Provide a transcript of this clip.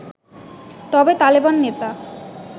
তবে তালেবান নেতা